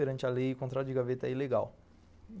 Perante a lei, o contrato de gaveta é ilegal.